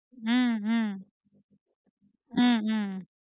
ஹம் ஹம் ஹம் ஹம்